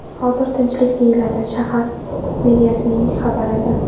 Hozir tinchlik”, deyiladi shahar meriyasining xabarida.